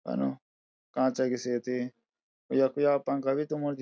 कनु कांचा की सियती यख या पंखा भी तुमरु दि --